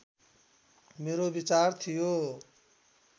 मेरो विचार थियो